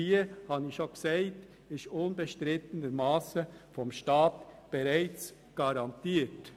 Die Versorgungssicherheit wird, wie bereits gesagt wurde, durch den Staat garantiert.